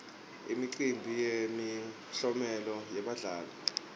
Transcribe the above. imicimbi yemiklomelo yebadlali